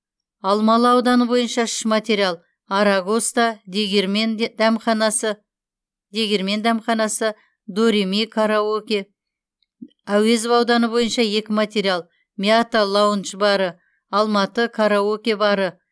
алмалы ауданы бойынша үш материал арагоста дегирмен дәмханасы дореми караоке әуезов ауданы бойынша екі материал мята лаундж бары алматы караоке бары